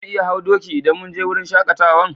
Za mu iya hau doki idan mun je wurin shakatawan?